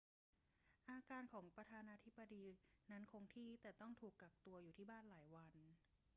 อาการของประธานาธิบดีนั้นคงที่ แต่ต้องถูกกักตัวอยู่ที่บ้านหลายวัน